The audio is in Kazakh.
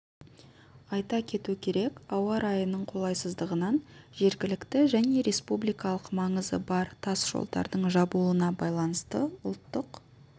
айта кету керек ауа райының қолайсыздығынан жергілікті және республикалық маңызы бар тас жолдардың жабылуына байланысты ұлттық